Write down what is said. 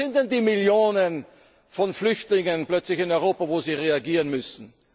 Wo sind denn die Millionen von Flüchtlingen plötzlich in Europa, auf die Sie reagieren müssen?